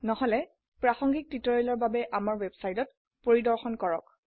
নহলে প্ৰাসঙ্গিক টিউটোৰিয়ালেৰ বাবে আমাৰ ওয়েবসাইটত পৰিদৰ্শন কৰক